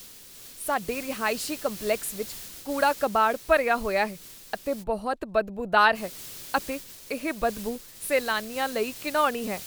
ਸਾਡੇ ਰਹਾਇਸ਼ੀ ਕੰਪਲੈਕਸ ਵਿੱਚ ਕੂੜਾ ਕਬਾੜ ਭਰਿਆ ਹੋਇਆ ਹੈ ਅਤੇ ਬਹੁਤ ਬਦਬੂਦਾਰ ਹੈ ਅਤੇ ਇਹ ਬਦਬੂ ਸੈਲਾਨੀਆਂ ਲਈ ਘਿਣਾਉਣੀ ਹੈ।